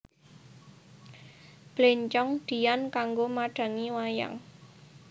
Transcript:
Bléncong diyan kanggo madhangi wayang